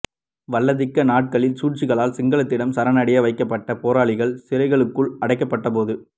வல்லாதிக்க நாடுகளின் சூழ்ச்சிகளால் சிங்களத்திடம் சரணடைய வைக்கப்பட்ட போராளிகள் சிறைகளுக்குள் அடைக்கப்பட்டபோது